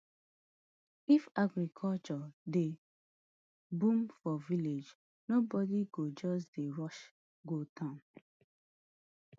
if agriculture dey boom for village nobody go just dey rush go town